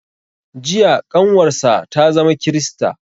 Jiya ƙanwar sa ta zama krista